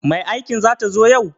Mai aikin zata zo yau?